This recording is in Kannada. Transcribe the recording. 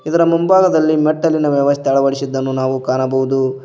ಇದರ ಮುಂಭಾಗದಲ್ಲಿ ಮೆಟ್ಟಿಲಿನ ವ್ಯವಸ್ಥೆ ಅಳವಡಿಸಿದ್ದನ್ನು ನಾವು ಕಾಣಬಹುದು.